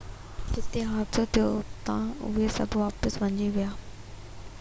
جتي حادثو ٿيو هو اتان اهي سڀ واپس ڀڄي ويا